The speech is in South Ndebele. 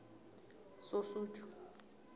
sosuthu